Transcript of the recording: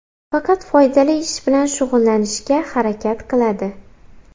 Faqat foydali ish bilan shug‘ullanishga harakat qiladi.